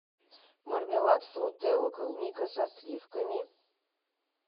мармелад фрутелла клубника со сливками